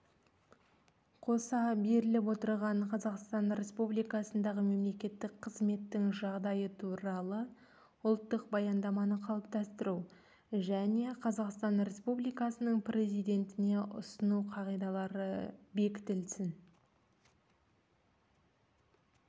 қоса беріліп отырған қазақстан республикасындағы мемлекеттік қызметтің жағдайы туралы ұлттық баяндаманы қалыптастыру және қазақстан республикасының президентіне ұсыну қағидалары бекітілсін